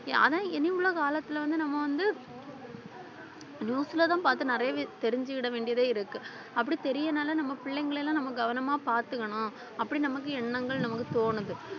ஆனா இனி உலக காலத்துல வந்து நம்ம வந்து news ல தான் பாத்து நிறையவே தெரிஞ்சுகிட வேண்டியதே இருக்கு அப்படி தெரியனால நம்ம பிள்ளைங்களை எல்லாம் நம்ம கவனமா பாத்துக்கணும் அப்படி நமக்கு எண்ணங்கள் நமக்கு தோணுது